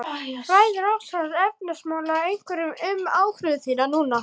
Ræður ástand efnahagsmála einhverju um ákvörðun þína núna?